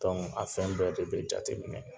a fɛn bɛɛ de bɛ jateminɛ